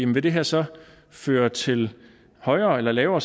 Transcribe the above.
vil det her så føre til højere eller lavere